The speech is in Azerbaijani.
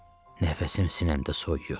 Nəfəsim sinəmdə soyuyur.